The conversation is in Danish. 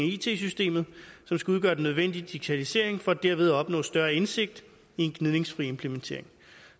it systemet som skal udgøre den nødvendige digitalisering for dermed at opnå større indsigt i en gnidningsfri implementering